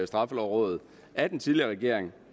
straffelovrådet af den tidligere regering